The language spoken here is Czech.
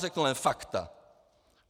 Řeknu jen fakta.